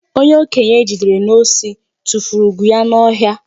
Onye okenye e jidere n'osi tufuru ugwu ya n'ọhịa.